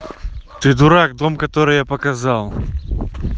ты дурак дом который я показал